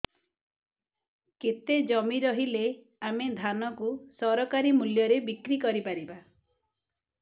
କେତେ ଜମି ରହିଲେ ଆମେ ଧାନ କୁ ସରକାରୀ ମୂଲ୍ଯରେ ବିକ୍ରି କରିପାରିବା